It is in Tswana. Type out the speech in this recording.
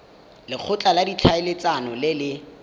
lekgotla la ditlhaeletsano le le